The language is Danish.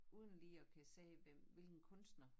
Uden lige at kan se hvem hvilken kunstner